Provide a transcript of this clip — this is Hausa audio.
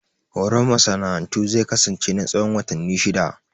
Horon masana'antu zai kasance na tsawon watanni shidda